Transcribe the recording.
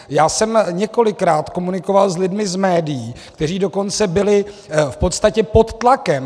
Já jsem několikrát komunikoval s lidmi z médií, kteří dokonce byli v podstatě pod tlakem.